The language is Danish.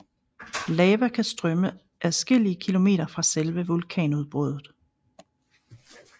Lava kan strømme adskillige kilometer fra selve vulkanudbruddet